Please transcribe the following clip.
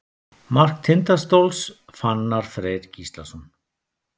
Mark Tindastóls: Fannar Freyr Gíslason.